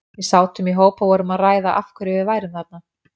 Við sátum í hóp og vorum að ræða af hverju við værum þarna.